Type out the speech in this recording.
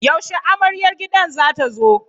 Yaushe amaryar gidan za ta zo?